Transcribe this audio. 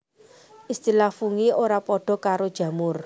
Istilah Fungi ora padha karo jamur